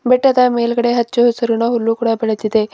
ಬೆಟ್ಟದ ಮೇಲ್ಗಡೆ ಹಚ್ಚ ಹಸುರಿನ ಹುಲ್ಲು ಕೂಡ ಬೆಳೆದಿದೆ.